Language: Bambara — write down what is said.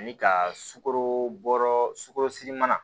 Ani ka sukoro bɔ sugolosi mana